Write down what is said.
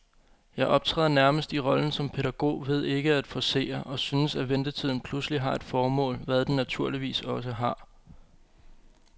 Jeg optræder nærmest i rollen som pædagog ved ikke at forcere, og synes, at ventetiden pludselig har et formål, hvad den naturligvis også har.